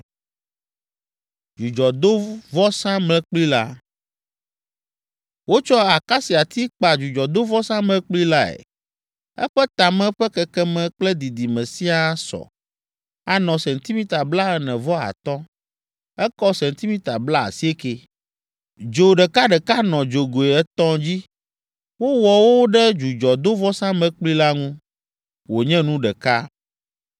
Wotsɔ akasiati kpa dzudzɔdovɔsamlekpui lae. Eƒe tame ƒe kekeme kple didime siaa sɔ, anɔ sentimita blaene-vɔ-atɔ̃. Ekɔ sentimita blaasiekɛ. Dzo ɖekaɖeka nɔ dzogoe etɔ̃ dzi; wowɔ wo ɖe dzudzɔdovɔsamlekpui la ŋu, wònye nu ɖeka.